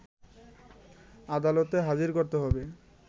আদালতে হাজির করতে হবে